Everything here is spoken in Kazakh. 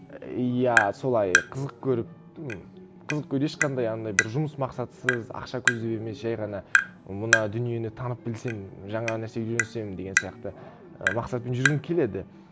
і иә солай қызық көріп ну қызық ешқандай анандай бір жұмыс мақсатсыз ақша көздеп емес жай ғана мына дүниені танып білсем жаңа нәрсе үйренсем деген сияқты і мақсатпен жүргім келеді